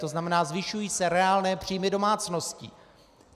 To znamená, zvyšují se reálné příjmy domácností.